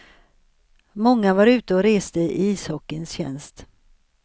Många var ute och reste i ishockeyns tjänst.